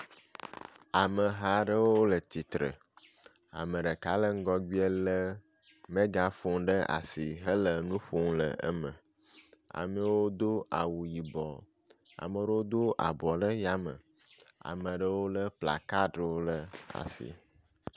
Ameha aɖewo le tsitre. Ame ɖeka le ŋgɔgbea le megafoni ɖe asi hele nu ƒom ɖe eme. Amewo do awu yibɔ. Amewo do abɔ ɖe yame ame aɖewo le kplakaɖiwo ɖe asi.